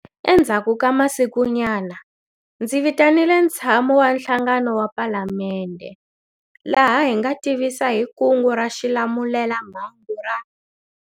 Endzhaku ka masikunyana, ndzi vitanile ntshamo wa nhlanganelo wa Palamende, laha hi nga tivisa hi Kungu ra Xilamulelamhangu ra.